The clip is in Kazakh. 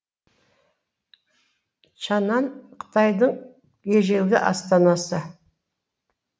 чаңан қытайдың ежелгі астанасы